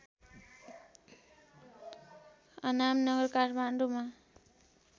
अनामनगर काठमाडौँमा